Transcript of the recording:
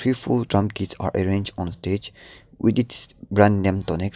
if all drum kits are arranged on the stage with its brand name tonex.